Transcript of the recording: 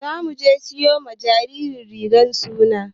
Za muje siyo ma jinjiran rigan suna.